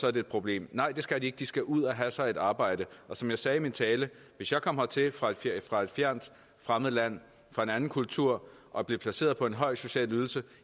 er det et problem nej det skal de ikke de skal ud og have sig et arbejde som jeg sagde i min tale hvis jeg kom hertil fra et fjernt fremmed land fra en anden kultur og blev placeret på en høj social ydelse